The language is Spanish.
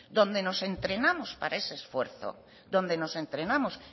donde nos entrenamos